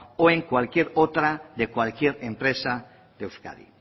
o en cualquier otra de cualquier empresa de euskadi